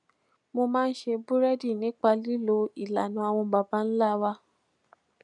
mo máa ń ṣe búrédì nípa lílo ìlànà àwọn baba ńlá wa